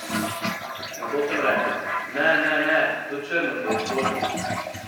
Nato sem rekla: 'Ne, ne, ne, to črno, ki je zložena ...